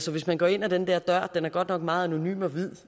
hvis man går ind ad den der dør den er godt nok meget anonym og hvid